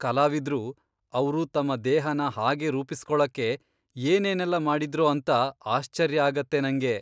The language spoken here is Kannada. ಕಲಾವಿದ್ರು, ಅವ್ರು ತಮ್ಮ ದೇಹನ ಹಾಗೆ ರೂಪಿಸ್ಕೊಳಕ್ಕೆ ಏನೇನೆಲ್ಲ ಮಾಡಿದ್ರೋ ಅಂತ ಆಶ್ಚರ್ಯ ಆಗತ್ತೆ ನಂಗೆ.